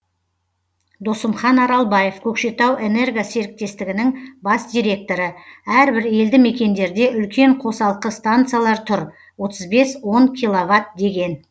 досымхан аралбаев көкшетау энерго серіктестігінің бас директоры әрбір елді мекендерде үлкен қосалқы станциялар тұр отыз бес он киловатт деген